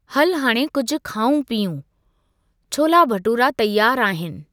हलु, हाणे कुझु खाउं पीउं, छोला भटूरा तयारु आहिनि।